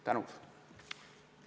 Tänan!